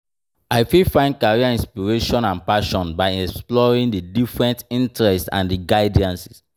I fit find career inspiration and passion by exploring di different interests and di guidance.